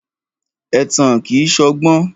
Ẹ̀tàn kìí ṣọgbọ́n.